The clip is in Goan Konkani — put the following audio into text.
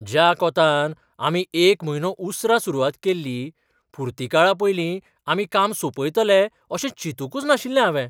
ज्या कोंतान आमी एक म्हयनो उसरां सुरवात केल्ली, पुर्तीकाळा पयलीं आमी काम सोंपयतले अशें चिंतूकच नाशिल्लें हांवें.